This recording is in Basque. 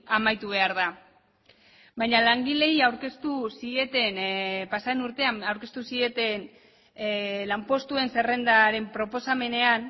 amaitu behar da baina langileei aurkeztu zieten pasaden urtean aurkeztu zieten lanpostuen zerrendaren proposamenean